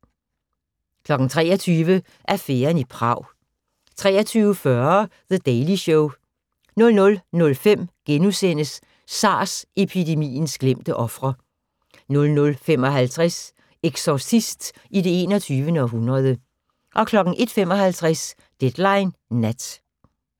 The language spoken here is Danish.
23:00: Affæren i Prag 23:40: The Daily Show 00:05: SARS-epidemiens glemte ofre * 00:55: Exorcist i det 21. århundrede 01:55: Deadline Nat